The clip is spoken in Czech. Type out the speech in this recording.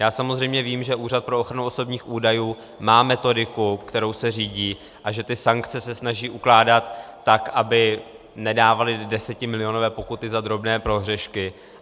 Já samozřejmě vím, že Úřad pro ochranu osobních údajů má metodiku, kterou se řídí, a že ty sankce se snaží ukládat tak, aby nedávaly desetimilionové pokuty za drobné prohřešky.